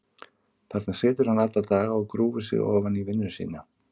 Þarna situr hann alla daga og grúfir sig ofan í vinnu sína.